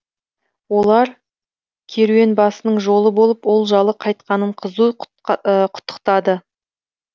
олар керуенбасының жолы болып олжалы қайтқанын қызу құттықтады